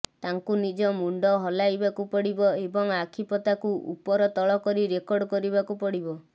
ତାଙ୍କୁ ନିଜ ମୁଣ୍ଡ ହଲାଇବାକୁ ପଡ଼ିବ ଏବଂ ଆଖି ପତାକୁ ଉପର ତଳ କରି ରେକର୍ଡ଼ କରିବାକୁ ପଡ଼ିବ